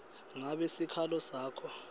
ngabe sikhalo sakho